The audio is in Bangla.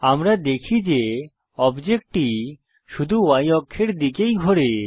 আমরা দেখি যে অবজেক্টটি শুধু Y অক্ষের দিকেই ঘোরে